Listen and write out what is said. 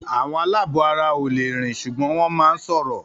Àwọn aláàbọ̀ara ò le rìn ṣùgbọ́n wọ́n máà ń sọ̀rọ̀